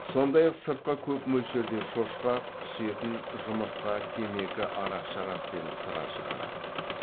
сондай ақ сыртқа көп мөлшерде шошқа құс етін жұмыртқа темекі арақ шарап пен сыра шығарады